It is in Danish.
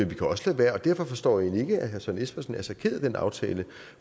vi kan også lade være derfor forstår jeg egentlig ikke at herre søren espersen er så ked af den aftale